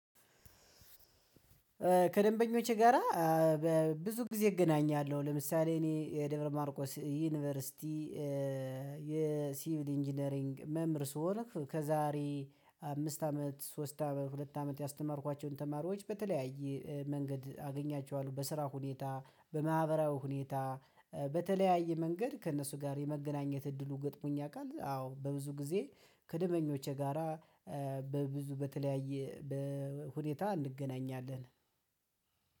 ከደንበኞቼ ጋራ በብዙ ጊዜ እገናኛለሁ ለምሳሌ እኔ የደብረ ማርቆስ ዩኒቨርሲቲ እ የሲቪል ኢንጂነሪንግ መምር ሲሆን ከዛሬ አምስት አመት ሶስት አመት ሁለት አመት ያስተማርኳቸውን ተማሪዎች በተለያየ መንገድ አገኛቸዋለሁ በስራ ሁኔታ በማህበራዊ ሁኔታ እ በ በተለያየ መንገድ ከእነሱ ጋር የመገናኘት እድሉ ገጥሞኝ ያውቃል። አዎ በብዙ ጊዜ ከደንበኞቼ ጋራ በብዙ በተለያየ በ ሁኔታ እንገናኛለን።